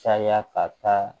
Caya ka taa